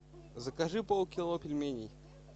закажи полкило пельменей